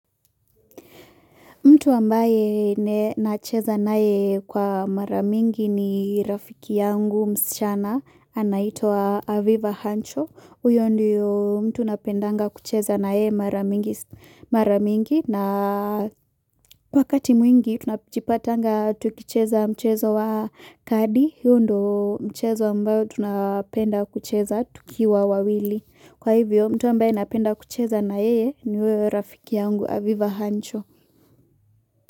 Mtu ambaye na cheza na ye kwa maramingi ni rafiki yangu msichana anaito Aviva Hancho. Uyo ndio mtu napendanga kucheza na ye maramingi na kwa wakati mwingi tunapijipatanga tukicheza mchezo wa kadi. Huu ndo mchezo ambayo tunapenda kucheza tukiwa wawili. Kwa hivyo mtu ambaye napenda kucheza na ye ni uyo rafiki yangu Aviva Hancho.